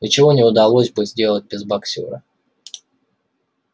ничего бы не удалось сделать без боксёра